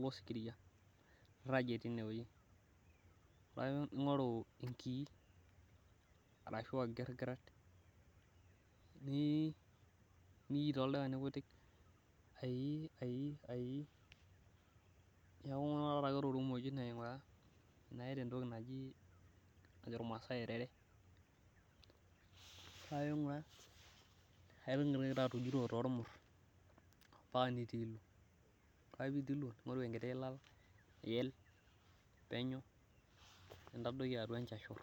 losikiria nirajie tineweji, paa ing'oru enkii ashu olkigiret, too ilkani kutik paa ingura tokimojino tenaa keta erere paa ijut too ilmur nintadoki enchashur.